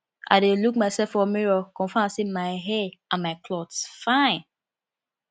i dey look mysef for mirror confirm sey my hair and my cloth fine